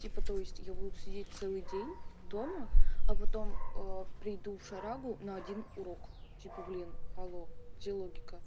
типа то есть я буду сидеть целый день дома а потом приду в шарагу но один урок типа блин алло где логика